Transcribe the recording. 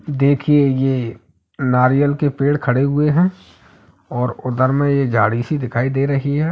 देखिए ये नारियल के पेड़ खड़े हुए हैं और उधर में एक झाड़ी सी दिखाई दे रही है।